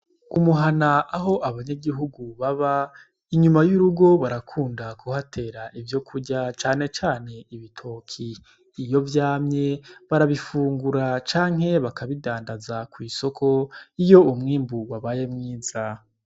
Umuhana aho abanyagihugu baba inyuma y'irugo barakunda kuhatera ivyo kurya canecane ibitoki iyo vyamye barabifungura canke bakabidandaza kw'isoko iyo umwimburwe abaye mwiza.